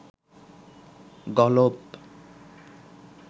গলপ